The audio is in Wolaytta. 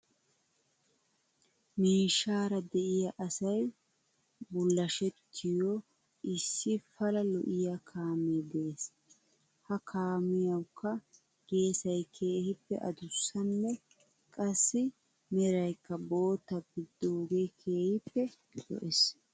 Miishshaara de'iyaa asay bullashettiyoo issi pala lo'iyaa kaamee de'es. He kaamiyawkka geesay keehippe adussanne qassi meraykka bootta gididaagee keehippe lo'es.